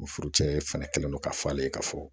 O furucɛ fana kɛlen don ka fɔ ale ye ka fɔ